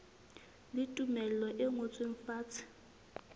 le tumello e ngotsweng fatshe